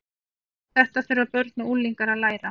Þetta þurfa börn og unglingar að læra.